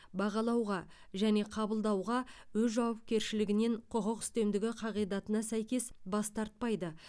бағалауға және қабылдауға өз жауапкершілігінен құқық үстемдігі қағидатына сәйкес бас тартпайды